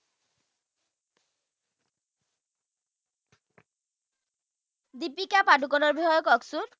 দীপিকা পাদুকনৰ বিষয়ে ককচোন